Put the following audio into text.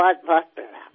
बहुत प्रणाम